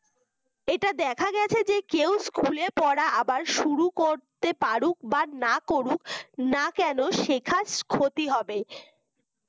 এটা দেখা গেছে যে কেউ school পড়া আবার শুরু করতে পাড়ুক বা না করুক না কেন সে কাজ ক্ষতি হবে